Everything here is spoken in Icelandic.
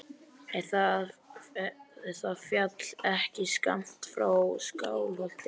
Er það fjall ekki skammt frá Skálholti?